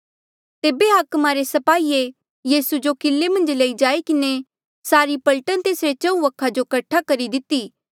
तेबे हाकमा रे स्पाहिये यीसू जो किले मन्झ लई जाई किन्हें सारी पलटन तेसरे चहुँ वखा जो कट्ठा करी दिती